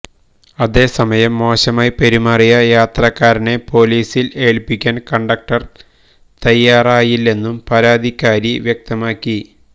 അതേസമയം മോശമായി പെരുമാറിയ യാത്രക്കാരനെ പോലീസിൽ ഏൽപ്പിക്കാൻ കണ്ടക്ടര് തയ്യാറായില്ലെന്നും പരാതിക്കാരി വ്യക്തമാക്കി